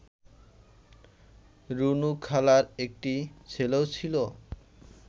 রুনুখালার একটি ছেলেও ছিল